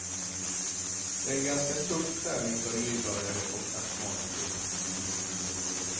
Det är en ganska tuff träning för en nybörjare och astmatiker.